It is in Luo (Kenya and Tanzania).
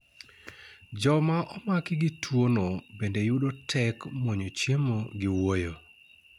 joma omaki gi tuo no bende yudo tek mwnyo chiemo gi wuoyo